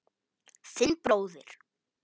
Þinn bróðir